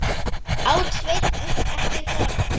át Sveinn upp eftir honum.